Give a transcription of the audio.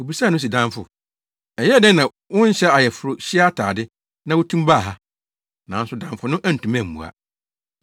Obisaa no se, ‘Damfo, ɛyɛɛ dɛn na wonhyɛ ayeforohyia atade, na wutumi baa ha?’ Nanso damfo no antumi ammua.